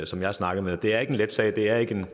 som jeg snakkede med det er ikke en let sag det er ikke